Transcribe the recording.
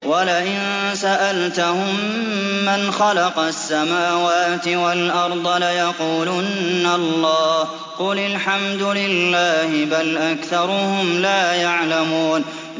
وَلَئِن سَأَلْتَهُم مَّنْ خَلَقَ السَّمَاوَاتِ وَالْأَرْضَ لَيَقُولُنَّ اللَّهُ ۚ قُلِ الْحَمْدُ لِلَّهِ ۚ بَلْ أَكْثَرُهُمْ لَا يَعْلَمُونَ